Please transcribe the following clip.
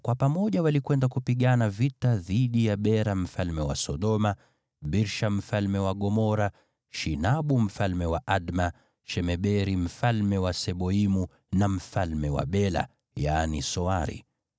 kwa pamoja walikwenda kupigana vita dhidi ya Bera mfalme wa Sodoma, Birsha mfalme wa Gomora, Shinabu mfalme wa Adma, Shemeberi mfalme wa Seboimu, na mfalme wa Bela (yaani Soari).